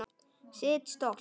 Sitt stolt.